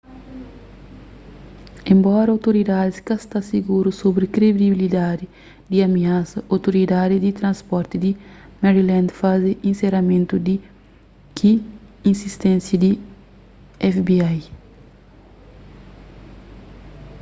enbora outoridadis ka sta siguru sobri kredibilidadi di amiasa outoridadi di transporti di maryland faze inseramentu ki insisténsia di fbi